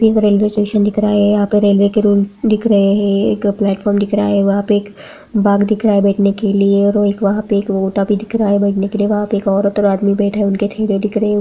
एक railway station दिख रहा है यहाँ पे रेल्वे के रूमस दिख रहे है एक प्लेटफॉर्म दिख रहा है वहाँ पे एक बाग दिख रहा है बैठने के लिए और एक वहाँ पे एक ओटा भी दिख रहा है बैठने के लिए वहाँ पे एक औरत और आदमी बैठे उनके ठेले दिख रहे--